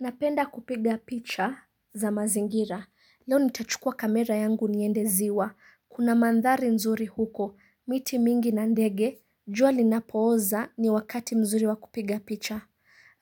Napenda kupiga picha za mazingira, leo nitachukua kamera yangu niende ziwa, kuna mandhari nzuri huko, miti mingi na ndege, jua linapooza ni wakati mzuri wa kupiga picha.